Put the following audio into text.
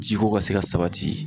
Ji ko ka se ka sabati.